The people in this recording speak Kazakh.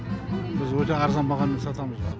біз өте арзан бағамен сатамыз